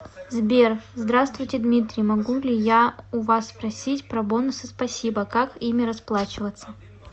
сбер здравствуйте дмитрий могу ли я у вас спросить про бонусы спасибо как ими расплачиваться